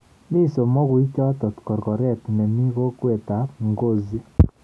Mi somokuichoto korkoret nemi kokwet ab Ngozi